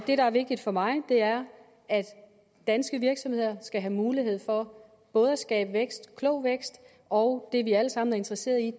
der er vigtigt for mig er at danske virksomheder skal have mulighed for både at skabe vækst klog vækst og det vi alle sammen er interesseret i